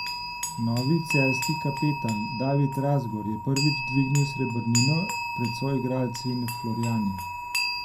Novi celjski kapetan David Razgor je prvič dvignil srebrnino pred soigralci in Florijani.